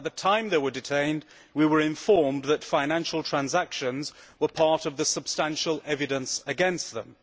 At the time they were detained, we were informed that financial transactions were part of the substantial evidence against them.